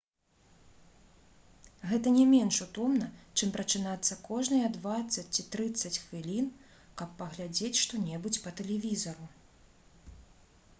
гэта не менш утомна чым прачынацца кожныя дваццаць ці трыццаць хвілін каб паглядзець што-небудзь па тэлевізару